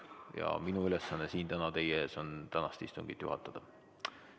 Ja minu ülesanne siin täna teie ees on tänast istungit juhatada.